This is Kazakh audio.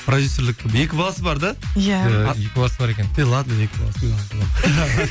продюссерлік екі баласы бар да иә екі баласы бар екен ладно екі баласымен